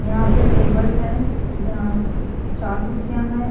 यहां पे टेबल है जहां चार कुर्सियां है।